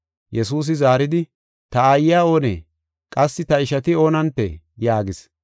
Yesuusi zaaridi, “Ta aayiya oonee? Qassi ta ishati oonantee?” yaagis.